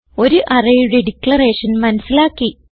ഒരു arrayയുടെ ഡിക്ലറേഷൻ മനസിലാക്കി